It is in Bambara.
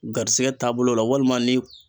Garisigɛ taabolo la walima ni